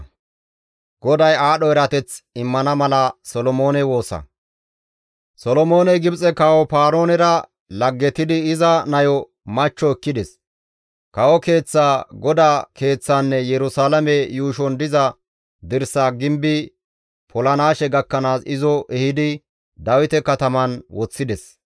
Solomooney Gibxe kawo Paaroonera laggetidi iza nayo machcho ekkides; kawo keeththaa, GODAA Keeththaanne Yerusalaame yuushon diza dirsaa gimbi polanaashe gakkanaas izo ehidi Dawite kataman woththides.